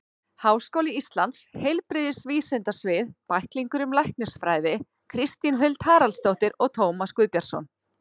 Háskóli Íslands: Heilbrigðisvísindasvið- Bæklingur um læknisfræði Kristín Huld Haraldsdóttir og Tómas Guðbjartsson.